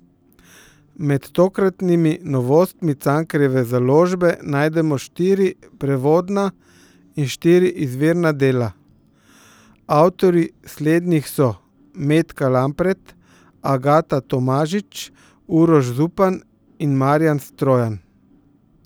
Med tokratnimi novostmi Cankarjeve založbe najdemo štiri prevodna in štiri izvirna dela, avtorji slednjih so Metka Lampret, Agata Tomažič, Uroš Zupan in Marjan Strojan.